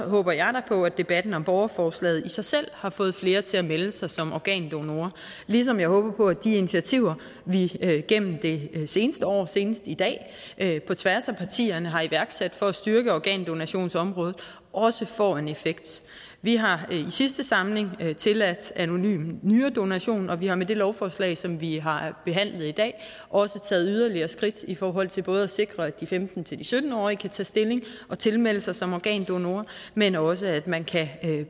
håber jeg da på at debatten om borgerforslaget i sig selv har fået flere til at melde sig som organdonorer ligesom jeg håber på at de initiativer vi gennem det seneste år senest i dag på tværs af partierne har iværksat for at styrke organdonationsområdet også får en effekt vi har i sidste samling tilladt anonym nyredonation og vi har med det lovforslag som vi har behandlet i dag også taget yderligere skridt i forhold til både at sikre at de femten til sytten årige kan tage stilling og tilmelde sig som organdonor men også at man